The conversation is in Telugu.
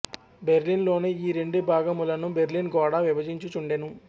బెర్లిన్ లోని ఈ రెండు భాగములను బెర్లిన్ గోడ విభజించుచుండెను